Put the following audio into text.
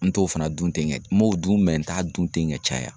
N t'o fana dun ten n m'o dun n t'a dun ten ka caya.